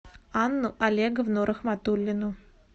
анну олеговну рахматуллину